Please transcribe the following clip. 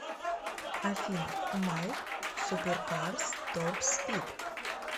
афина майк суперкарс топспид